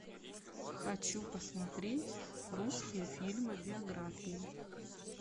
хочу посмотреть русские фильмы биографии